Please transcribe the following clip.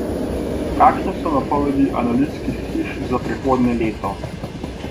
Kakšne pa so napovedi analitskih hiš za prihodnje leto?